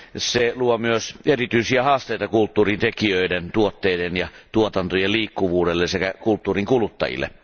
Se luo myös erityisiä haasteita kulttuurin tekijöiden, tuotteiden ja tuotantojen liikkuvuudelle sekä kulttuurin kuluttajille.